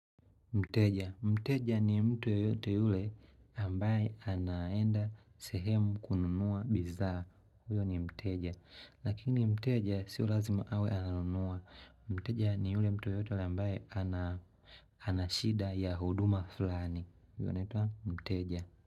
Mteja. Mteja ni mtu yoyote yule ambaye anaenda sehemu kununua bidhaa. Huyo ni mteja. Lakini mteja sio lazima awe ananunua. Mteja ni yule mtu yoyote yule ambaye anashida ya huduma fulani. Huyo anaitwa mteja.